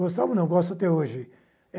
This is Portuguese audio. Gostava ou não gosto até hoje